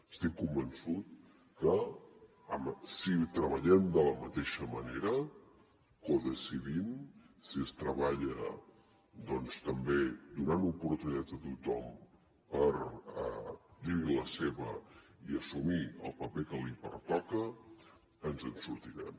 estic convençut que si treballem de la mateixa manera codecidint si es treballa també doncs donant oportunitats a tothom per dir hi la seva i assumir el paper que li pertoca ens en sortirem